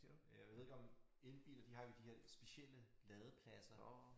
Øh jeg ved ikke om elbiler de har jo de her specielle ladepladser